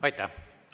Aitäh!